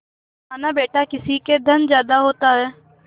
मानाबेटा किसी के धन ज्यादा होता है